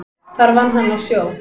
Þar vann hann á sjó.